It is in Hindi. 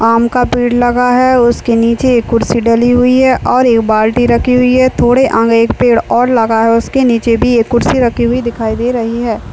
आम का पेड़ लगा हुआ है। उसके नीचे एक कुर्सी डली हुए है और एक बाल्टी रखी हुई है। थोड़े आंगे पेड़ और लग हुआ है उसके नीचे भी कुर्सी रखी दिखाई दे रही है।